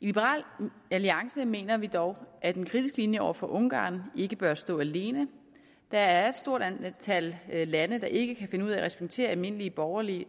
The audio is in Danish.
i liberal alliance mener vi dog at en kritisk linje over for ungarn ikke bør stå alene der er et stort antal lande der ikke kan finde ud af at respektere almindelige borgerlige